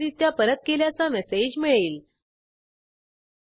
नंतर रिक्वेस्टडिस्पॅचर द्वारे success return page कडे पाठवणार आहोत